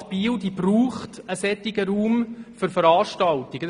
Die Stadt Biel braucht einen derartigen Raum für Veranstaltungen.